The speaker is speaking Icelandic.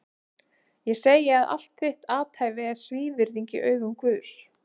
Ég segi að allt þitt athæfi er svívirðing í augum Guðs!